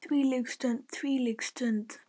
Ó þvílík stund, þvílík stund.